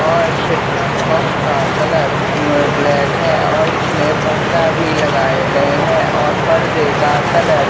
और set top box का colour अअ ब्लैक है और इसमें पर्दा भी लगाए गए हैं और पर्दे का कलर --